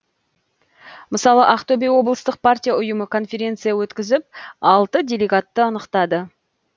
мысалы ақтөбе облыстық партия ұйымы конференция өткізіп алты делегатты анықтады